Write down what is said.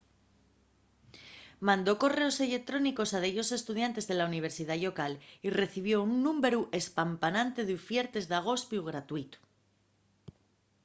mandó correos electrónicos a dellos estudiantes de la universidá llocal y recibió un númberu espampanante d’ufiertes d’agospiu gratuitu